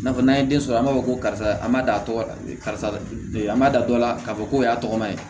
Nafan n'an ye den sɔrɔ an b'a fɔ ko karisa an m'a da a tɔgɔ la karisa an ma da dɔ la k'a fɔ ko o y'a tɔgɔma ye